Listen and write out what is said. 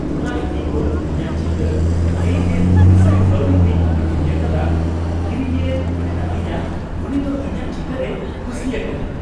ᱦᱚᱞᱟ ᱤᱧ ᱫᱚ ᱤᱧᱟᱜ ᱪᱤᱛᱟᱹᱨ ᱓᱖᱐᱐ ᱠᱟᱹᱣᱰᱤ ᱛᱮᱧ ᱟᱹᱠᱷᱨᱤᱧ ᱟᱠᱟᱫᱟ ᱾ ᱠᱤᱨᱤᱧᱤᱭᱟᱹᱭ ᱢᱮᱛᱟᱫᱤᱧᱟ ᱩᱱᱤ ᱫᱚ ᱤᱧᱟᱜ ᱪᱤᱛᱟᱹᱨᱮ ᱠᱩᱥᱤᱭᱟᱠᱟᱫᱟ !